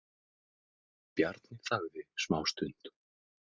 Bjarni þagði smástund.